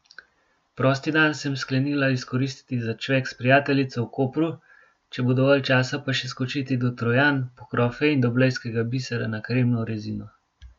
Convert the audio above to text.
Prosti dan sem sklenila izkoristiti za čvek s prijateljico v Kopru, če bo dovolj časa, pa še skočiti do Trojan po krofe in do blejskega bisera na kremno rezino.